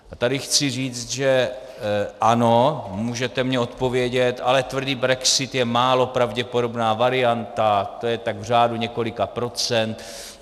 A tady chci říct, že ano, můžete mi odpovědět, ale tvrdý brexit je málo pravděpodobná varianta, to je tak v řádu několika procent.